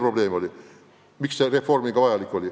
Ka seepärast oli seda reformi vaja.